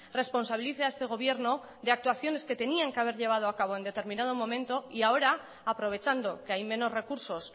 responsabilice a este gobierno de actuaciones que tenían que haber llevado a cabo en determinado momento y ahora aprovechando que hay menos recursos